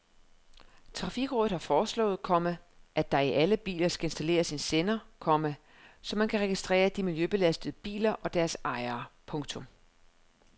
Trafikrådet har foreslået, komma at der i alle biler skal installeres en sender, komma så man kan registrere de miljøbelastende biler og deres ejere. punktum